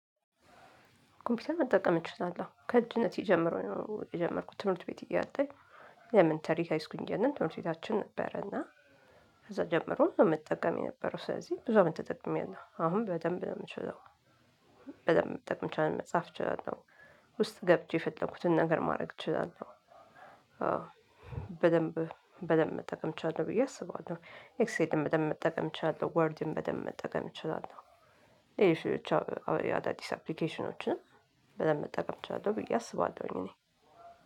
ኮምፒውተር መጠቀም እችላለሁ ከልጅነት ጀምረው የጀመርኩት ትምህርት ቤት እያለ ኤሌሜንተር ሀይስኩል ትምህርተ ቤታችን ነበረ እና ከዛ ጀምሮ ነው መጠቀም የነበረው ስለዚህ ብዙ አመት ተጠቅሜያለሁ አሁን በደንብ ነው የምችለው። በደንብ መጥቀም ይቻላል መጻፍ እችላለሁ ውስጥ ገብቼ የፈለኩትን ነገር ማድረግ እችላለሁ። በደንብ በደንብ መጠቀም እችላለሁ ብዬ አስባለሁ። ኤክስኤል በደንብ መጠቀም እችላለሁ ወርድን በደንብ መጠቀም እችላለሁ። ይሄ ብቻ አዳዲስ አፕሊኬሽኖችን በደንብ መጠቀም እችላለሁ ብዬ አስባለሁኝ። እኔ